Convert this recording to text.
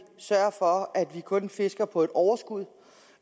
sørge for at vi kun fisker på et overskud